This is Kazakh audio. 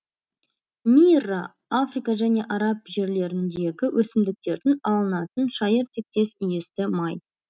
мирра африка және араб жерлеріндегі өсімдіктердің алынатын шайыр тектес иісті май